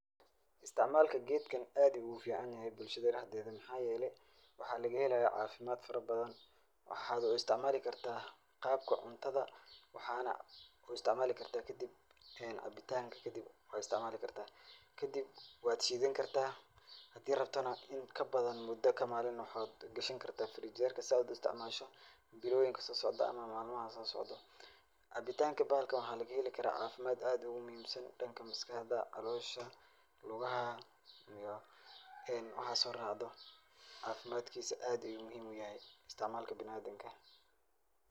Istacmalka gedkan aad ayu ogufican yahay bulshada dhexdeda mxa yele, waxa lagahelaya cafimad farabadan waxad uisticmal karta danka cuntada, waxana kuisticmali danka cabitanka kadib wad shidani kadib hadi rabtana mudan kadib waxa gashani karta frinjerka sad uisticmasho biloyinka sosocda ama malmaha sosocdo. Cabitanka bahalkan waxa lagaheli kara cafimad aad ogumuhimsan danka maskaxda, calosha, lugaha iyo waxa soracdo cabitankisa aa ayu muhiiim oguyahay isticmalka biniadamka.